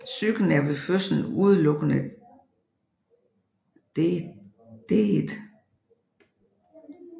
Psyken er ved fødslen udelukkende detet